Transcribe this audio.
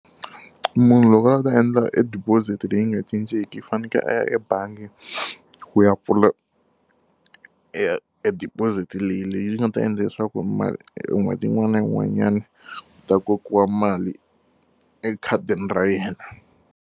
Munhu loko a lava ku ta endla e deposit leyi nga cincenki i fanekele a ya ebangi ku ya pfula e deposit leyi leyi nga ta endla leswaku n'hweti yin'wana na yin'wanyana ta kokiwa mali ekhadini ra yena.